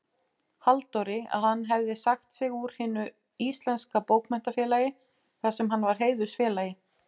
Halldóri, að hann hefði sagt sig úr Hinu íslenska bókmenntafélagi, þarsem hann var heiðursfélagi.